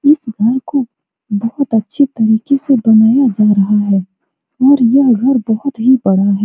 इस घर को बहुत अच्छे तरीके से बनाया जा रहा है और यह घर बहुत ही बड़ा है।